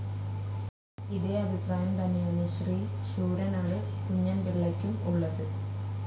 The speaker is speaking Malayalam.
ഇതേ അഭിപ്രായം തന്നെയാണ് ശ്രീ ശൂരനാട് കുഞ്ഞന്പിള്ളയ്ക്കും ഉള്ളത്.